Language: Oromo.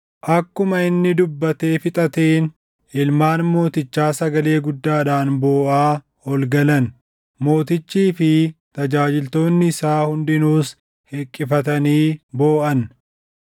Akkuma inni dubbatee fixateen ilmaan mootichaa sagalee guddaadhaan booʼaa ol galan. Mootichii fi tajaajiltoonni isaa hundinuus hiqqifatanii booʼan.